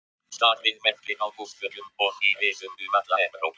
Starinn verpir á húsþökum og í risum um alla Evrópu.